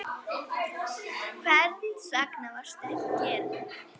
Hvers vegna varstu ekki kyrr?